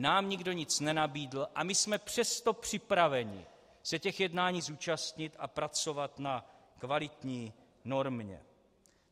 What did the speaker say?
Nám nikdo nic nenabídl, a my jsme přesto připraveni se těch jednání zúčastnit a pracovat na kvalitní normě.